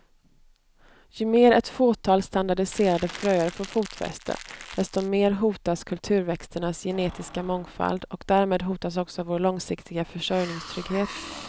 Ju mer ett fåtal standardiserade fröer får fotfäste, desto mer hotas kulturväxternas genetiska mångfald och därmed hotas också vår långsiktiga försörjningstrygghet.